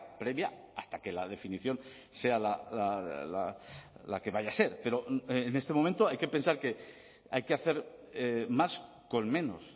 previa hasta que la definición sea la que vaya a ser pero en este momento hay que pensar que hay que hacer más con menos